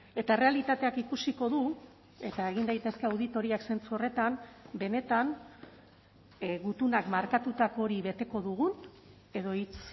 eta errealitateak ikusiko du eta egin daitezke auditoriak zentzu horretan benetan gutunak markatutako hori beteko dugun edo hitz